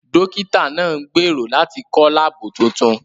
Dókítà náà ń gbèrò láti kọ́ láàbù tuntun